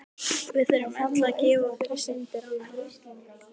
Við þurfum öll að gjalda fyrir syndir annarra.